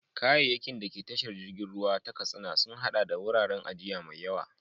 Kayayyakin da ke tashar jirgin ruwa ta Katsina sun haɗa da wuraren ajiya mai yawa.